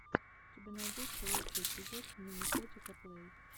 у тебя найдется лучший эпизод миникотика плэй